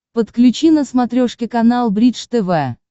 подключи на смотрешке канал бридж тв